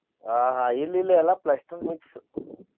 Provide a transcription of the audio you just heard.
ಆಹ್ ಆಹ್ ಇಲ್ಲಿ ಇಲ್ಲಾ ಎಲ್ಲಾ plaster mix .